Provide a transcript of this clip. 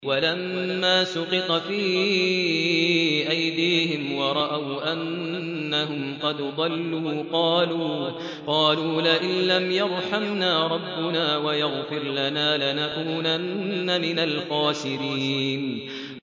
وَلَمَّا سُقِطَ فِي أَيْدِيهِمْ وَرَأَوْا أَنَّهُمْ قَدْ ضَلُّوا قَالُوا لَئِن لَّمْ يَرْحَمْنَا رَبُّنَا وَيَغْفِرْ لَنَا لَنَكُونَنَّ مِنَ الْخَاسِرِينَ